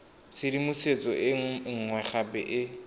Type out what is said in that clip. tshedimosetso e nngwe gape e